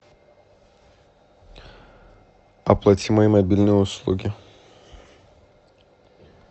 оплати мои мобильные услуги